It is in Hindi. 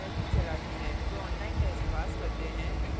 जो online test pass करते हैं उन्हें प्रमाणपत्र भी देते हैं